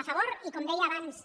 a favor i com deia abans